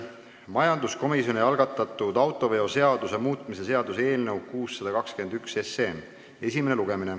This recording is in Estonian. Majanduskomisjoni algatatud autoveoseaduse muutmise seaduse eelnõu 621 esimene lugemine.